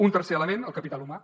un tercer element el capital humà